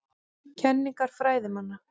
Kenningar fræðimanna.